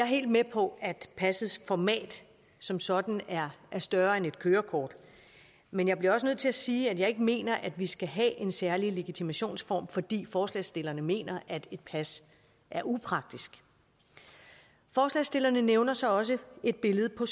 helt med på at passets format som sådan er større end et kørekort men jeg bliver også nødt til at sige at jeg ikke mener at vi skal have en særlig legitimationsform fordi forslagsstillerne mener at et pas er upraktisk forslagsstillerne nævner så også et billede på